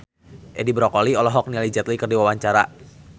Edi Brokoli olohok ningali Jet Li keur diwawancara